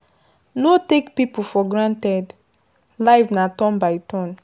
No take pipo for granted, life na turn by turn